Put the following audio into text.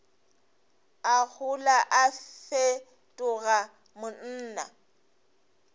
a gola a fetoga monna